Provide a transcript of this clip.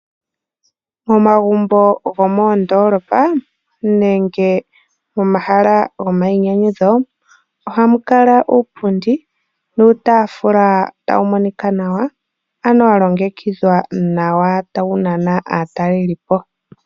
Momagumbo gomoondoolopa nenge momahala gomayinyanyudho. Ohamu kala iipundi niitaafula tayi monika nawa ano ya longekidhwa nawa tayi nana aatalelipo.